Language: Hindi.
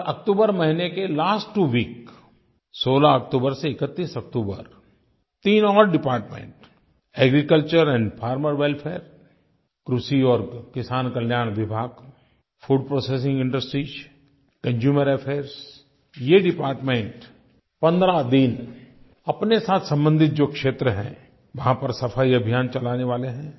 और अक्टूबर महीने के लास्ट त्वो week16 अक्टूबर से 31 अक्टूबर तीन और department agriculture and farmer welfare कृषि और किसान कल्याण विभाग food processing industries consumer affairs ये डिपार्टमेंट 15 दिन अपने साथ संबंधित जो क्षेत्र हैं वहाँ पर सफ़ाई अभियान चलाने वाले हैं